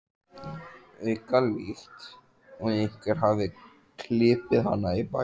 auka, líkt og einhver hafi klipið hana í bakið.